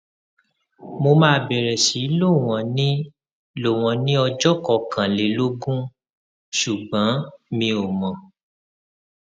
mo máa bẹrẹ sí lò wọn ní lò wọn ní ọjọ kọkànlélógún ṣùgbọn mi ò mọ